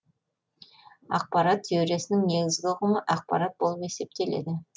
ақпарат теориясының негізгі ұғымы ақпарат болып есептеледі